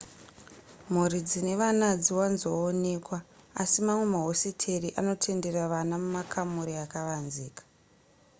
mhuri dzine vana hadziwanzoonekwa asi mamwe mahositeri anotendera vana mumakamuri akavanzika